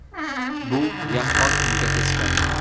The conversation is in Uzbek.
Bu yaqqol unga teskari.